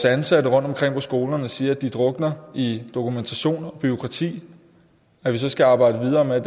ansatte rundtomkring på skolerne og siger at de drukner i dokumentation og bureaukrati skal arbejde videre med